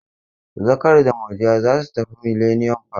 Zakari da Murja za su tafi Millennium park.